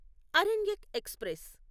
Aranyak express